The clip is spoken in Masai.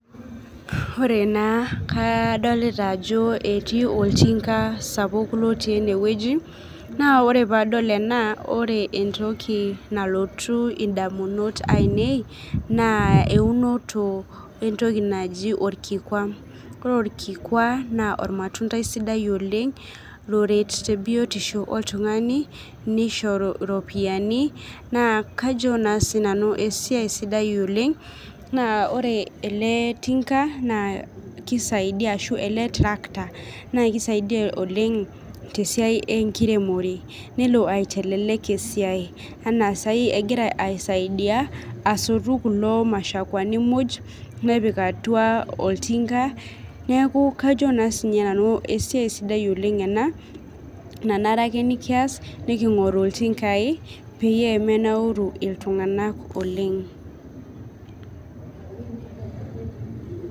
Ore naa kadolita ajo ketii oltinga sapuk otii enewoji, naa ore paadol ena ore entoki nalotu indamunot ainei, naa eunoto entoki naji olkikua. Ore olkikua naa ilmatundai sidai oleng',loret tebiotisho oltungani nisho iropiyiani naa kajo naa sinanu esiai sidai oleng',naa ore ele tinka naa kisaidia ashu ele trakta naa kisaidia oleng' tesiai enkiremore, nelo aitelelek esiai enaa saai egira aisaidia asotu kulo mashakuani muj, nepik atua oltinga. Neeku kajo naa sininye nanu esiai sidai oleng' ena nanare ake nikias, nikingoru iltingai peyie menauru iltunganak oleng'.